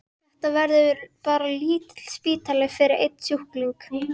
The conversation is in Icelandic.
Þetta verður bara lítill spítali fyrir einn sjúkling.